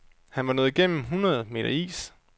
Han var nået gennem hundrede meter is.